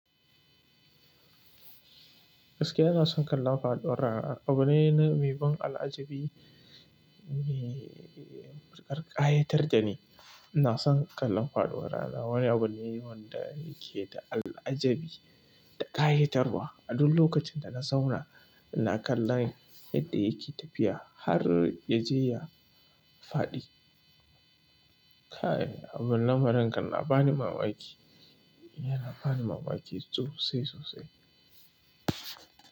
Gaskiya ina son kallon faɗuwar rana. Abu ne mai ban al'ajabi me ƙarƙayar jini. Ina son kallon faduwar rana. Wani abu ne wanda yake da al'ajabi da ƙayatarwa. A duk lokacin da na zauna, ina kallon yadda yake tafiya har ya je ya faɗi. K'a yi, abin lamarin kan na bani mamaki. Yana bani mamaki sosai sosai.